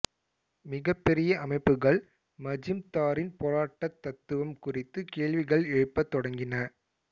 மிகப்பெரிய அமைப்புகள் மஜூம்தாரின் போராட்டத் தத்துவம் குறித்து கேள்விகள் எழுப்பத் தொடங்கின